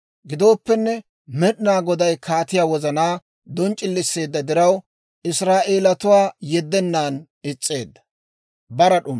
Gidooppenne, Med'inaa Goday kaatiyaa wozanaa donc'c'iliseedda diraw, Israa'eelatuwaa yeddennan is's'eedda.